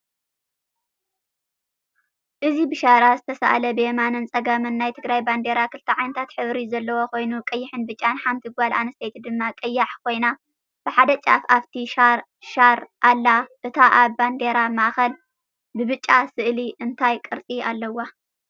እዚ ብሻራ ዝተሳእለ ብየማንን ፀጋምን ናይ ትግራይ ባንዴራ ክልተ ዓይነት ሕብሪ ዘለዎ ኮይኑ ቀይሕን ፣ብጫን ሓንቲ ጋል ኣንስተይቲ ድማ ቀያሕ ኮይና ብሓደ ጫፍ ኣፍቲ ሻር ኣላ እታ ኣብ ባንዴራ ማእከል ብብጫ ስእሊ እንታይ ቅርፂ ኣለዋ?